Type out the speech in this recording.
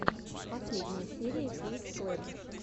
последняя серия кейт клэпп